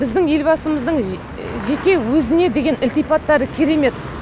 біздің елбасымыздың жеке өзіне деген ілтипаттары керемет